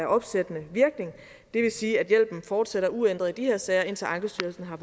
opsættende virkning og det vil sige at hjælpen fortsætter uændret i de her sager indtil ankestyrelsen har